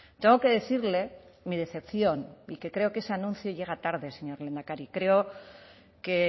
tengo que decirle mi decepción y que creo que ese anuncio llega tarde señor lehendakari creo que